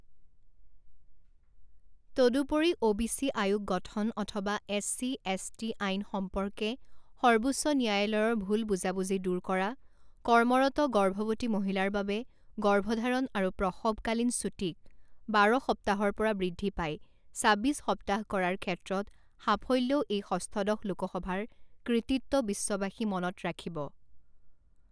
তদুপৰি, O BC আয়োগ গঠন অথবা এছচি এছটি আইন সম্পৰ্কে সৰ্বোচ্চ ন্যায়ালয়ৰ ভুল বুজাবুজি দূৰ কৰা, কৰ্মৰত গৰ্ভৱতী মহিলাৰ বাবে গৰ্ভধাৰণ আৰু প্ৰসৱকালীন ছুটিক বাৰ সপ্তাহৰ পৰা বৃদ্ধি পাই ছাব্বিছ সপ্তাহ কৰাৰ ক্ষেত্ৰত সাফল্যও এই ষষ্ঠদশ লোকসভাৰ কৃতিত্ব বিশ্ববাসী মনত ৰাখিব।